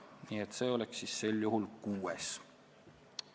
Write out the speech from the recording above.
Nii et Alutaguse oleks siis kuues rahvuspark.